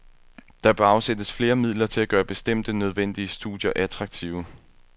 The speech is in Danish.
Der bør afsættes flere midler til at gøre bestemte, nødvendige studier attraktive.